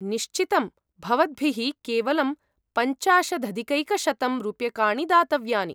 निश्चितम्, भवद्भिः केवलं पञ्चाशदधिकैकशतं रूप्यकाणि दातव्यानि।